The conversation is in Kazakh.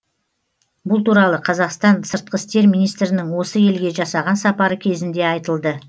бұл туралы қазақстан сыртқы істер министрінің осы елге жасаған сапары кезінде айтылды